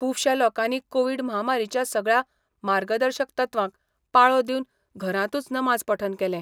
खूबशा लोकांनी कोवीड म्हामारीच्या सगळ्या मार्गदर्शक तत्वांक पाळो दिवन घरांतूच नमाज पठण केलें.